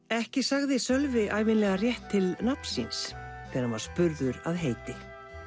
ekki sagði Sölvi ævinlega rétt til nafns síns þegar hann var spurður að heiti